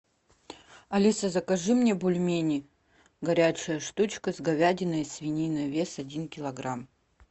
алиса закажи мне бульмени горячая штучка с говядиной и свининой вес один килограмм